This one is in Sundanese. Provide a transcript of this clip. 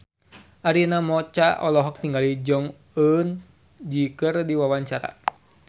Arina Mocca olohok ningali Jong Eun Ji keur diwawancara